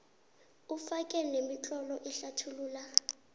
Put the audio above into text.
ufake nemitlolo ehlathulula